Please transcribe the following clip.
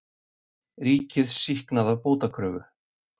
Ríkið sýknað af bótakröfu